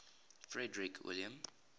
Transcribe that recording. frederick william